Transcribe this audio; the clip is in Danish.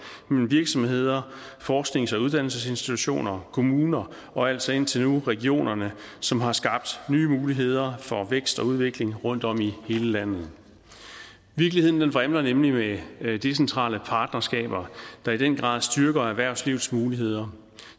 mellem virksomheder forsknings og uddannelsesinstitutioner kommuner og altså indtil nu regionerne som har skabt nye muligheder for vækst og udvikling rundt om i hele landet virkeligheden vrimler nemlig med decentrale partnerskaber der i den grad styrker erhvervslivets muligheder